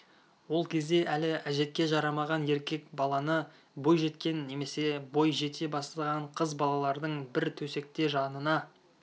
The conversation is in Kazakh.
ол кезде әлі әжетке жарамаған еркек баланы бой жеткен немесе бой жете бастаған қыз балалардың бір төсекте жанына